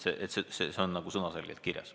Siis oleks see selge sõnaga kirjas.